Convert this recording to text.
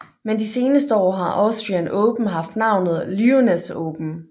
Men de seneste år har Austrian Open haft navnet Lyoness Open